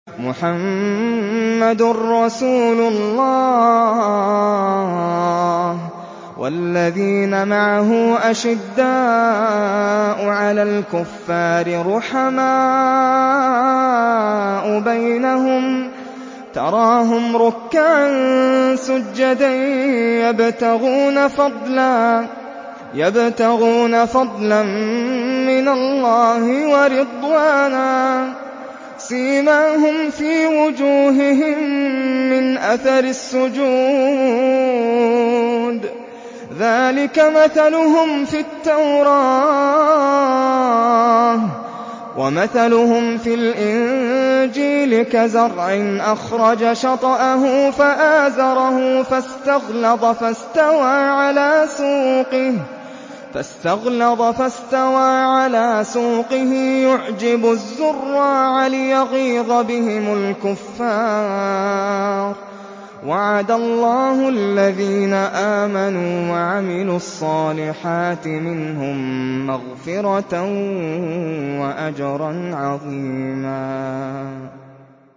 مُّحَمَّدٌ رَّسُولُ اللَّهِ ۚ وَالَّذِينَ مَعَهُ أَشِدَّاءُ عَلَى الْكُفَّارِ رُحَمَاءُ بَيْنَهُمْ ۖ تَرَاهُمْ رُكَّعًا سُجَّدًا يَبْتَغُونَ فَضْلًا مِّنَ اللَّهِ وَرِضْوَانًا ۖ سِيمَاهُمْ فِي وُجُوهِهِم مِّنْ أَثَرِ السُّجُودِ ۚ ذَٰلِكَ مَثَلُهُمْ فِي التَّوْرَاةِ ۚ وَمَثَلُهُمْ فِي الْإِنجِيلِ كَزَرْعٍ أَخْرَجَ شَطْأَهُ فَآزَرَهُ فَاسْتَغْلَظَ فَاسْتَوَىٰ عَلَىٰ سُوقِهِ يُعْجِبُ الزُّرَّاعَ لِيَغِيظَ بِهِمُ الْكُفَّارَ ۗ وَعَدَ اللَّهُ الَّذِينَ آمَنُوا وَعَمِلُوا الصَّالِحَاتِ مِنْهُم مَّغْفِرَةً وَأَجْرًا عَظِيمًا